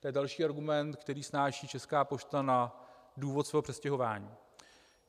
To je další argument, který snáší Česká pošta na důvod svého přestěhování.